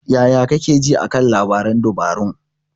Yaya kake ji a kan labaran dabarun?